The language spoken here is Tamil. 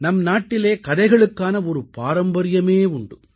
நம்நாட்டிலே கதைகளுக்கான ஒரு பாரம்பரியமே உண்டு